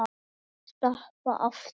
Stappa aftur.